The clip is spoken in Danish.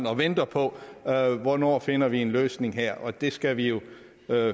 og venter på hvornår finder vi en løsning her og den skal vi jo